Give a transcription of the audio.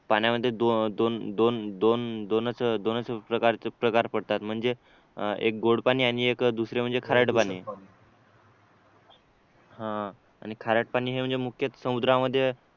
पाण्यामध्ये दोन दोन दोन दोनच दोनच प्रकार पडतात म्हणजे एक गोड पाणी आणि दुसरे म्हणजे खारट पाणी आणि खारट पाणी हे म्हणजे मुख्यतः समुद्रामध्ये